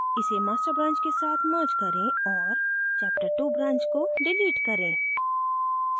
इसे master branch के साथ merge करें और chaptertwo branch को डिलीट करें